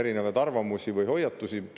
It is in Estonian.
See ei ole kuidagi halb.